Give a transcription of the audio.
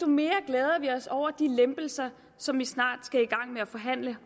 mere glæder vi os over de lempelser som vi snart skal i gang med at forhandle